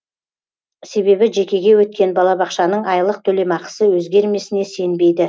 себебі жекеге өткен балабақшаның айлық төлемақысы өзгермесіне сенбейді